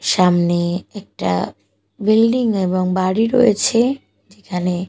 সামনে একটা বিল্ডিং এবং বাড়ি রয়েছে যেখানে--